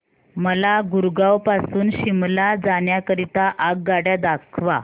मला गुरगाव पासून शिमला जाण्या करीता आगगाड्या दाखवा